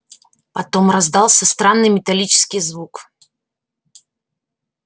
потом раздался странный металлический звук